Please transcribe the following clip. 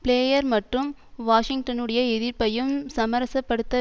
player மற்றும் வாஷிங்டனுடைய எதிர்ப்பையும் சமரசப்படுத்த